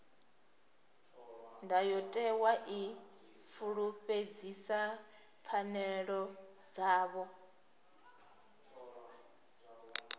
ndayotewa i fulufhedzisa pfanelo dzavho